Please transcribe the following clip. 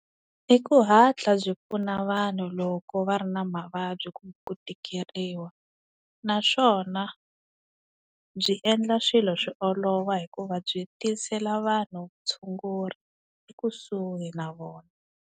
I ku hatla byi pfuna vanhu loko va ri na mavabyi kumbe ku tikeriwa naswona byi endla swilo swi olova hikuva byi tisela vanhu vutshunguri ekusuhi na vona.